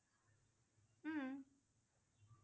উম